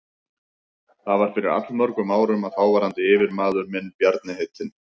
Það var fyrir allmörgum árum að þáverandi yfirmaður minn, Bjarni heitinn